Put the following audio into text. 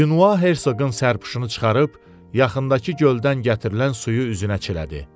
Dünva Herşoqun sərpşunu çıxarıb yaxındakı göldən gətirilən suyu üzünə çilədi.